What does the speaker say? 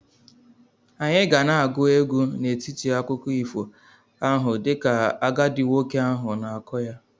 Anyị ga na-agụ egwu n'etiti akụkọ ifo ahụ dịka agadi nwoke ahụ na-akọ ya.